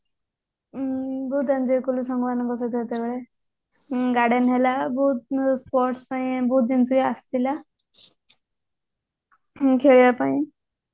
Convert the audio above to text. ବହୁତ enjoy କଲୁ ସାଙ୍ଗ ମାନଙ୍କ ସହିତ ସେତେବେଳେ garden ହେଲା ବହୁତ sports ପାଇଁ ବହୁତ ଜିନିଷ ବି ଆସିଥିଲା ଖେଳିବା ପାଇଁ